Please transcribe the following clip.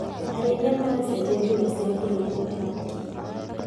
Arĩithia maracenjia njĩra cia kũrĩithia thamaki.